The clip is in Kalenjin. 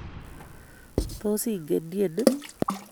Tos ingen tyeni?